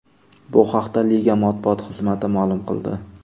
Bu haqda liga matbuot xizmati ma’lum qildi.